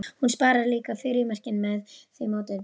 Hún sparar líka frímerkin með því móti.